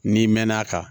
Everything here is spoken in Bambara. N'i mɛn'a kan